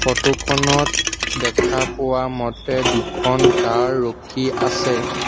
Photo খনত দেখা পোৱা মতে দুখন কাৰ ৰখি আছে।